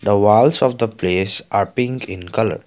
the walls of the place are pink in colour.